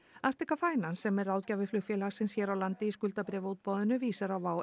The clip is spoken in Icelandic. Finance sem er ráðgjafi flugfélagsins hér á landi í skuldabréfaútboðinu vísar á